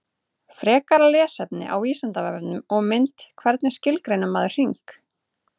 Frekara lesefni á Vísindavefnum og mynd Hvernig skilgreinir maður hring?